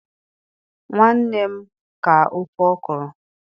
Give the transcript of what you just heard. nwanne m ka ofe okro